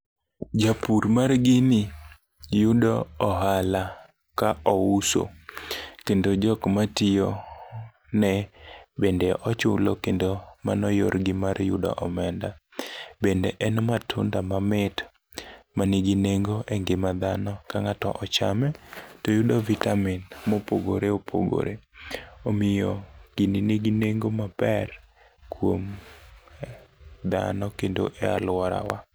Japur mar gini yudo ohala ka ouso kendo jokmatiyo ne bende ochulo kendo mano yorgi mar yudo omenda. Bende en matunda mamit manigi nengo e ngima dhano ka ng'ato ochame to yudo vitamin mopogore opogore. Omiyo ghini nigi nengo maber kuom dhano kendo e alworawa.